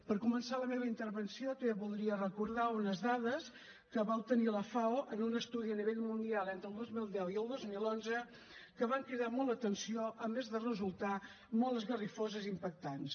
per començar la meva intervenció voldria recordar unes dades que va obtenir la fao en un estudi a nivell mundial entre el dos mil deu i el dos mil onze que van cridar molt l’atenció a més de resultar molt esgarrifoses i impactants